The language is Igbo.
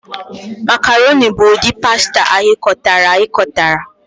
Macarọnị bụ ụdị pasta aghikotara aghikotara.